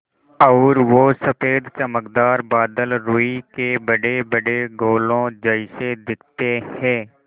और वो सफ़ेद चमकदार बादल रूई के बड़ेबड़े गोलों जैसे दिखते हैं